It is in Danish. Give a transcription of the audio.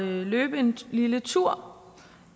løbe en lille tur